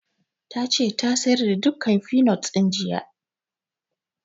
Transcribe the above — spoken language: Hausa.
Ta ce ta sayar da dukkan finot ɗin jiya